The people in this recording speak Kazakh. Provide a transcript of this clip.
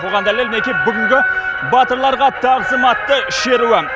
бұған дәлел мінекей бүгінгі батырларға тағзым атты шеруі